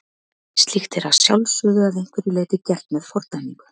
Slíkt er að sjálfsögðu að einhverju leyti gert með fordæmingu.